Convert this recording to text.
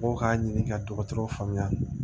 Mɔgɔw k'a ɲini ka dɔgɔtɔrɔw faamuya